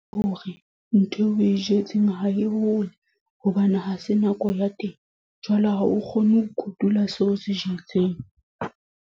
Hore, ntho eo o e jetseng ho e hole. Hobane ha se nako ya teng. Jwale ha o kgone ho kotula seo o se jetseng.